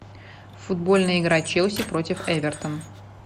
футбольная игра челси против эвертон